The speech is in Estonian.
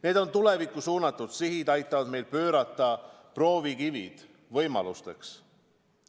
Need tulevikku suunatud sihid aitavad meil pöörata proovikivid võimalusteks.